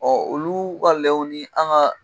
Ɔ olu ka lɛw ni an ka